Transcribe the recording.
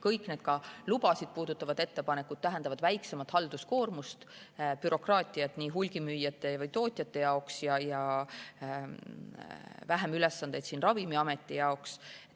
Kõik see, näiteks ka lubasid puudutavad ettepanekud tähendavad väiksemat halduskoormust, vähemat bürokraatiat hulgimüüjate ja tootjate jaoks ja vähem ülesandeid ka Ravimiametile.